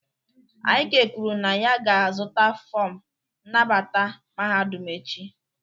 Ik kwuru na ya ga-azụta fọm nnabata mahadum echi